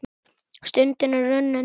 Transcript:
Stundin er runnin upp.